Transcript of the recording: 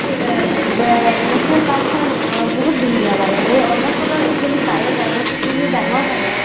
national park খব বহুত ধুনীয়া মানে এই আৰুণাচলৰ actually biodiversity ও ডাঙৰ হয় মানে